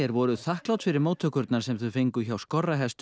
voru þakklát fyrir móttökurnar sem þau fengu hjá Skorrahestum